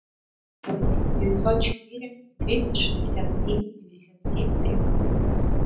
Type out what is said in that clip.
восемь девятьсот четыре двести шестьдесят семь пятьдесят семь тринадцать